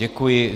Děkuji.